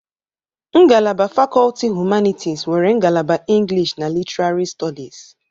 Ngalaba fakọlti humanịtis nwere ngalaba English and Literary studies.